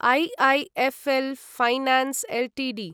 IIFL finance Ltd